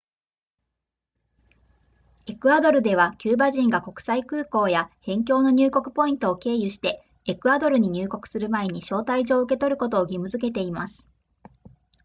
エクアドルではキューバ人が国際空港や辺境の入国ポイントを経由してエクアドルに入国する前に招待状を受け取ることを義務付けています